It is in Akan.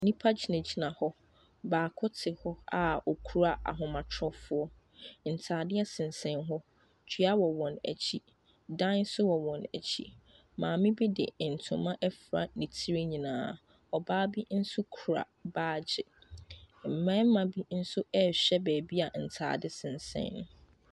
Nipa gyinagyina hɔ, baako te hɔ a okura ahomatorofo. Ntaadeɛ sensɛn hɔ, dua wɔ wɔn ekyi, ɛdan so wɔ wɔn ekyi. Maame bi de ntoma efra ne tiri nyinaa, Ɔbaa bi nso kura baagye. Mbɛɛma bi nso ɛɛhwɛ beebi a ntaade sensɛn.